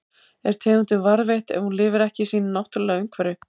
Er tegundin varðveitt ef hún lifir ekki í sínu náttúrulega umhverfi?